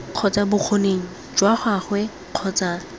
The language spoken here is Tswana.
kgotsa bokgoni jwa gagwe kgotsa